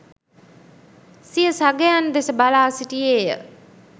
සිය සගයන් දෙස බලා සිටියේය